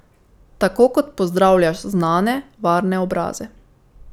Tako kot pozdravljaš znane, varne obraze.